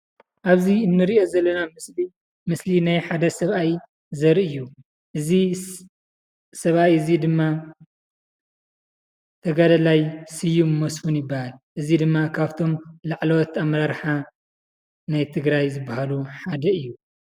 ኣብዚ እንሪኦ ዘለና ምስሊ ምስሊ ናይ ሓደ ሰብኣይ ዘርኢ እዩ። እዚ ሰብኣይ እዚ ድማ ተጋዳላይ ስዩም መስፍን ይባሃል። እዚ ድማ ካብቶም ላዕለዎት ኣመራርሓ ናይ ትግራይ ዝባሃሉ ሓደ እዩ።